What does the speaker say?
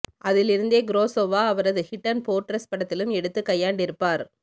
அதில் இருந்தே குரஸோவா அவரது ஹிட்டன் ஃபோர்ட்ரெஸ் படத்திலும் எடுத்துக் கையாண்டிருப்பார்